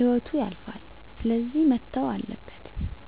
ህይወቱ ያልፋል ስለዚህ መተው አለበት።